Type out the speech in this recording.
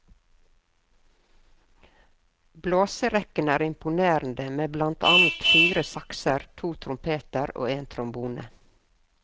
Blåserekken er imponerende med blant annet fire saxer, to trompeter og en trombone.